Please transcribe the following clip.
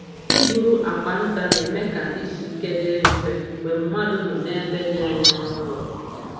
Ịburu akwa nta na-eme ka izu ike dịrị mfe mgbe mmadụ nọ ebe dị anya n’ụlọ.